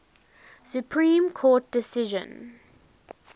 supreme court decision